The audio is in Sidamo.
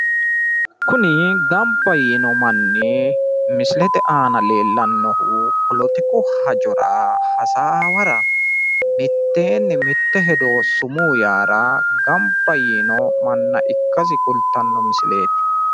kuni gamba yiino manni misilete aana leellannohu poletiku hajora hasaawara miteenni mitte hedo sumuu yaara gamba yiino manna ikkasi kultanno misileeti